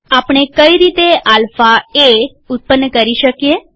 આપણે કઈ રીતે આલ્ફા એ ઉત્પન્ન કરી શકીએ